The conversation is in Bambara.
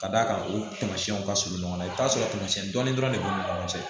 Ka d'a kan o tamasiyɛnw ka surun ɲɔgɔn na i bɛ t'a sɔrɔ tamasiyɛn dɔɔnin dɔrɔn de b'u ni ɲɔgɔn cɛ